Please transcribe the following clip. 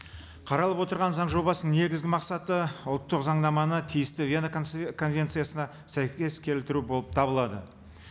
қаралып отырған заң жобасының негізгі мақсаты ұлттық заңнаманы тиісті вена конвенциясына сәйкес келтіру болып табылады